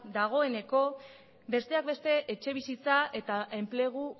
dagoeneko besteak beste etxebizitza eta enplegu